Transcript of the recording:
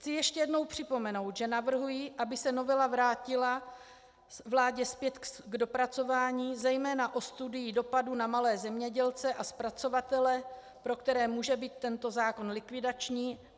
Chci ještě jednou připomenout, že navrhuji, aby se novela vrátila vládě zpět k dopracování, zejména o studii dopadu na malé zemědělce a zpracovatele, pro které může být tento zákon likvidační.